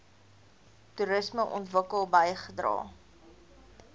toerisme ontwikkeling bygedra